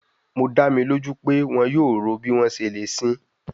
Mo da mi loju pe wọn yoo ro bi wọn ṣe le sin i